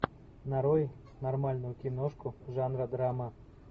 нарой нормальную киношку жанра драма